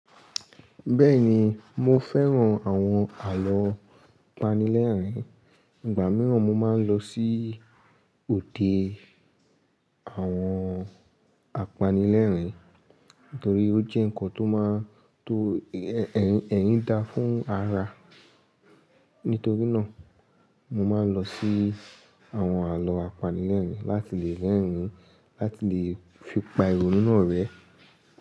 Bẹ́ẹ̀ni, mo fẹ́ran àwọn àlọ́ apanilẹ́rìn-ín. Ìgbà mìíràn mo máa ń lọ sí òde àwọn apanilẹ́rìn-ín nítorí ó jẹ́ nǹkan tó máa ń to ẹ̀yín dá fún ara. Nítorí náà, mo máa ń lọ sí àwọn àlọ́ apanilẹ́rìn-ín láti lè rẹ́rìn-ín láti lè fi pa ìrònú náà rẹ́.